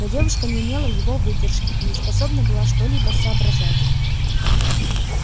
но девушка не имела его выдержки и не способна была что-либо соображать